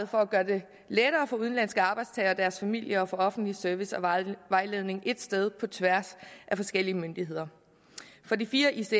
for at gøre det lettere for udenlandske arbejdstagere og deres familier at få offentlig service og vejledning ét sted på tværs af forskellige myndigheder på de fire ics